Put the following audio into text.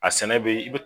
A sɛnɛ bɛ